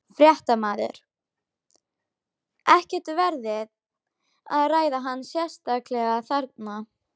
Fréttamaður: Ekkert verið að ræða hana sérstaklega þarna?